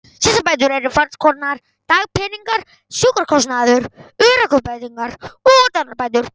Slysabætur eru fernskonar: dagpeningar, sjúkrakostnaður, örorkubætur og dánarbætur.